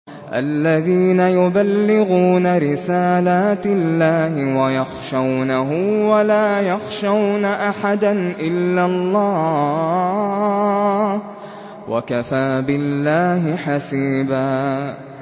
الَّذِينَ يُبَلِّغُونَ رِسَالَاتِ اللَّهِ وَيَخْشَوْنَهُ وَلَا يَخْشَوْنَ أَحَدًا إِلَّا اللَّهَ ۗ وَكَفَىٰ بِاللَّهِ حَسِيبًا